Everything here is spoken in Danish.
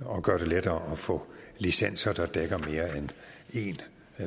og gøre det lettere at få licenser der dækker mere end en